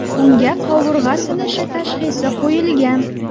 Unga qovurg‘a sinishi tashxisi qo‘yilgan.